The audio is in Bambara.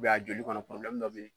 a joli kɔnɔ dɔ bɛ yen.